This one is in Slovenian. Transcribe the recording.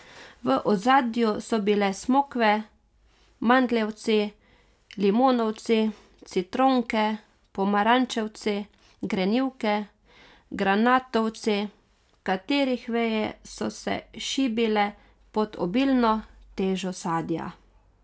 V ozadju so bile smokve, mandljevci, limonovci, citronke, pomarančevci, grenivke, granatovci, katerih veje so se šibile pod obilno težo sadja.